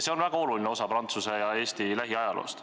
See on väga oluline osa Prantsuse ja Eesti lähiajaloost.